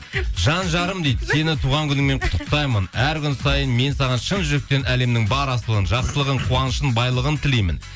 жан жарым дейді сені туған күніңмен құттықтаймын әр күн сайын мен саған шын жүректен әлемнің бар асылын жақсылығын қуанышын байлығын тілеймін